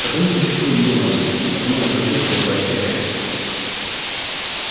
потому существует донорство потому оно почётно и поощряется